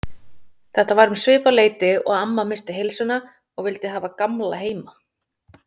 Þetta var um svipað leyti og amma missti heilsuna og vildi hafa Gamla heima.